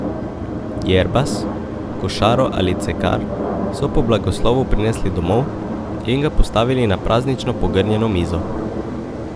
Jerbas, košaro ali cekar so po blagoslovu prinesli domov in ga postavili na praznično pogrnjeno mizo.